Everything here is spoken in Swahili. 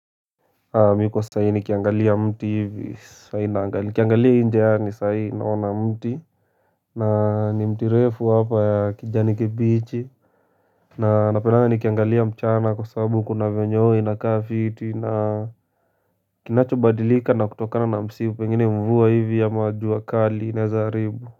Kwa saa hii nikiangalia mti hivi, nikiangalia nje yaani saa hii naona mti na ni mti refu hapa ya kijani kibichi na napendanga nikiangalia mchana kwa sababu kuna venye huwa inakaa fiti na Kinachobadilika na kutokana na msibu pengine mvua hivi ama jua kali inaeza haribu.